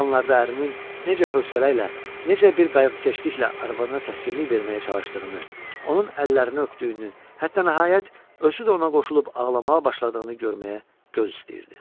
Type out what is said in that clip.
Belə anlarda ərinin necə hövsələ ilə, necə bir qayğıkeşliklə arvadına təskinlik verməyə çalışdığını, onun əllərini öpdüyünü, hətta nəhayət, özü də ona qoşulub ağlamağa başladığını görməyə göz istəyirdi.